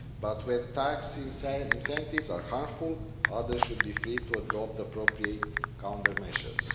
But when tax incentives are harmful, others should be free to adopt appropriate counter measures.